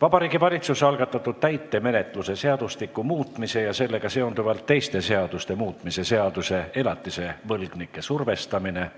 Vabariigi Valitsuse algatatud täitemenetluse seadustiku muutmise ja sellega seonduvalt teiste seaduste muutmise seaduse